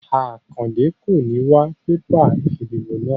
Akande kò ní wá bébà ìdìbò náà